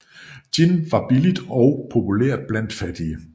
Gin var billigt og populært blandt fattige